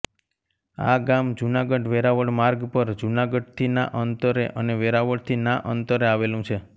આ ગામ જૂનાગઢવેરાવળ માર્ગ પર જૂનાગઢથી ના અંતરે અને વેરાવળથી ના અંતરે આવેલું છે